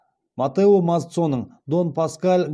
маттео мазцоның дон паскал